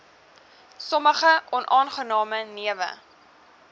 sommige onaangename newe